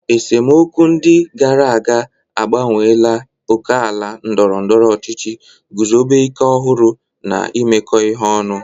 Esemokwu ndị gara aga agbanweela ókèala ndọrọ ndọrọ ọchịchị, guzobe ike ọhụrụ, na imekọ ihe ọnụ.